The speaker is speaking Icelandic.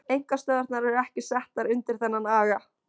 Einkastöðvarnar eru ekki settar undir þennan aga.